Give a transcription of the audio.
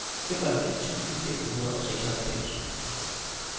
femoghalvfems tusind fem hundrede og seksoghalvfems